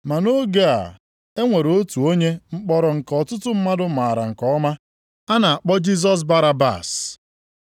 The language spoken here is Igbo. Ma nʼoge a e nwere otu onye mkpọrọ nke ọtụtụ mmadụ maara nke ọma. A na-akpọ Jisọs Barabas.